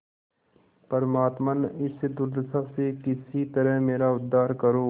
परमात्मन इस दुर्दशा से किसी तरह मेरा उद्धार करो